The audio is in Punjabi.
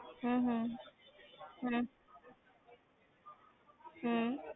ਹਮ ਹਮ ਹਮ ਹਮ